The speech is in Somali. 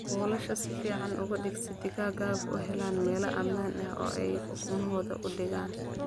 Buulasha si fiican u dhig si digaagadu u helaan meel ammaan ah oo ay ukumahooda ku dhigaan.